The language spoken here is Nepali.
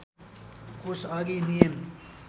कोष अघि नियम